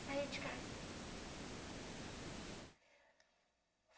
Saí de casa.